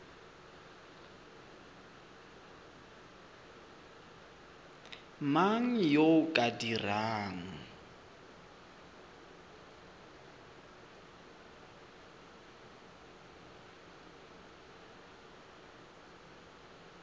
mang yo o ka dirang